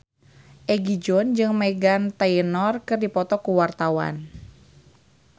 Egi John jeung Meghan Trainor keur dipoto ku wartawan